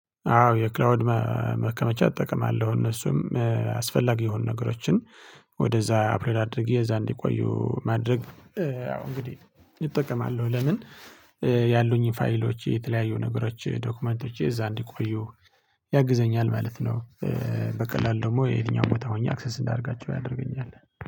አዎ የክላውድ ማከመቻ እጠቀማለሁ እነሱም አስፈላጊ የሆኑ ነገሮችን ወደዛ አፕሎድ አድርጌ እዛ እንዲቆዩ ማድረግ። ያው እንግዲህ እጠቀማለሁ ለምን? ያሉኝን ፋይሎች የተለያዩ ነገሮች ዶክመንቶች እዛ እንዲቆዩ ያግዘኛል ማለት ነው። በቀላሉ ደግሞ የትኛውም ቦታ ሆኜ አክሰስ እንዳደርጋቸው ያደርገኛል